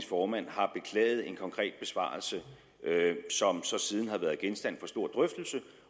formand har beklaget en konkret besvarelse som så siden har været genstand for stor drøftelse